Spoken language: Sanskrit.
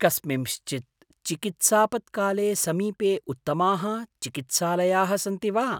कस्मिंश्चित् चिकित्सापत्काले समीपे उत्तमाः चिकित्सालयाः सन्ति वा?